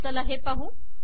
चला हे पाहू